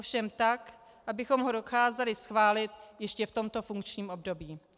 Ovšem tak, abychom ho dokázali schválit ještě v tomto funkčním období.